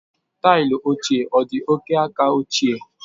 Taịlị ochie ọ dị oke aka ochie?